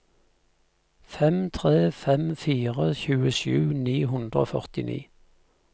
fem tre fem fire tjuesju ni hundre og førtini